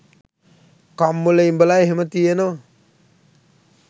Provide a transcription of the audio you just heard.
කම්මුල ඉඹල එහෙම තියෙනවා.